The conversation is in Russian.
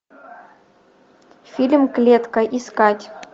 фильм клетка искать